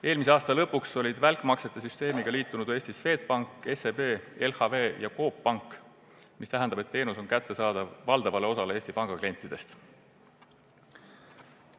Eelmise aasta lõpuks olid välkmaksete süsteemiga Eestis liitunud Swedbank, SEB, LHV ja Coop Pank – see tähendab, et teenus on kättesaadav valdavale osale Eesti Panga klientidest.